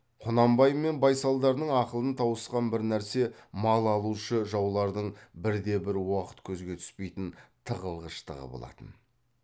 құнанбай мен байсалдардың ақылын тауысқан бір нәрсе мал алушы жаулардың бірде бір уақыт көзге түспейтін тығылғыштығы болатын